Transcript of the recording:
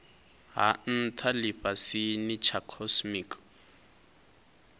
ha ntha lifhasini tsha cosmic